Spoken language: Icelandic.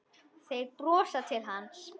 Þeir brosa til hans.